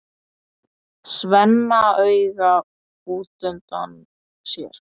Svenna auga útundan sér.